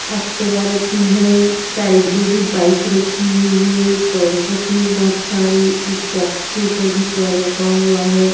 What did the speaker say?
Activa रखी है side में भी बाइक रखी हुई है टॉयज रखे हैं बहुत सारे एक बॉक्स के ऊपर भी टॉय रखा हुआ है ।